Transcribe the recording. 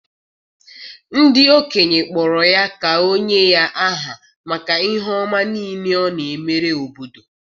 ndị okenye kpọrọ ya ka o nye ya aha maka ihe ọma niile ọ na-emere obodo.